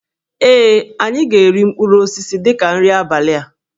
Ee, anyị ga-eri mkpụrụ osisi dị ka nri abalị a